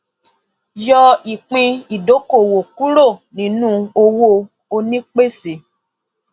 yọ ìpín ìdókòwò kúrò nínú owó onípèsè